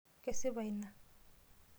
Kesipa ina.